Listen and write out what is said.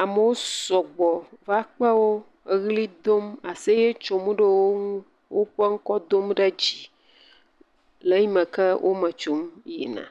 Amewo sɔgbɔ va kpe wo eʋli dom aseye tsom ɖe wo ŋu woƒe ŋkɔ dom ɖe dzi le eyimeke wometsom yina.